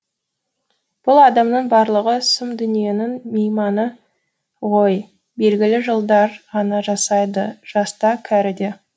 бұл адамның барлығы сұм дүниенің мейманы ғой белгілі жылдар ғана жасайды жас та кәрі де